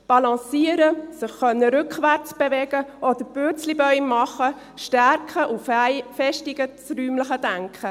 Balancieren, sich rückwärts bewegen können oder Purzelbäume machen stärken und festigen das räumliche Denken.